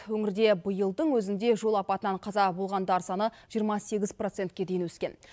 өңірде биылдың өзінде жол апатынан қаза болғандар саны жиырма сегіз процентке дейін өскен